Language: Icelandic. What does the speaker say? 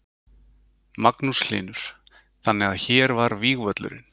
Magnús Hlynur: Þannig að hér var vígvöllurinn?